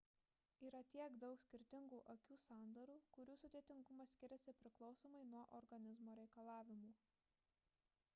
yra tiek daug skirtingų akių sandarų kurių sudėtingumas skiriasi priklausomai nuo organizmo reikalavimų